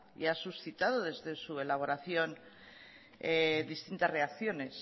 y ha suscitado desde su elaboración distintas reacciones